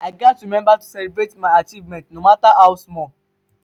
i gats remember to celebrate my achievements no matter how small.